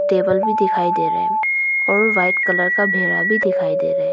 Table भी दिखाई दे रहा है और वाइट कलर का भेड़ा भी दिखाई दे रहा है।